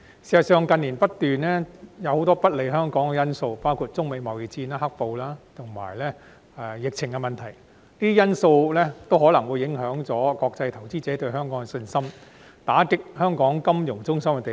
事實上，近年不斷出現很多不利香港的因素，包括中美貿易戰、"黑暴"及疫情等，全部均有可能影響國際投資者對香港的信心，打擊香港金融中心的地位。